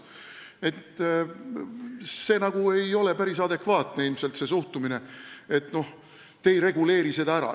Nii et ilmselt ei ole päris adekvaatne see suhtumine, et me ei reguleeri seda ära.